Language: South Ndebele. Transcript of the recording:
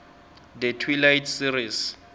the twilight series